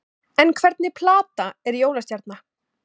En hvernig planta er jólastjarna?